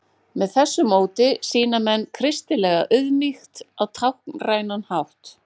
Með þessu móti sýni menn kristilega auðmýkt á táknrænan hátt.